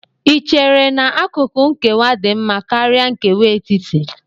Ì chere na akụkụ nkewa dị mma karịa nkewa etiti?